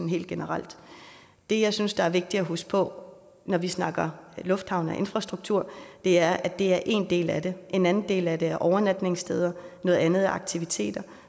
helt generelt det jeg synes der er vigtigt at huske på når vi snakker lufthavne og infrastruktur er at det er én del af det en anden del af det er overnatningssteder og noget andet er aktiviteter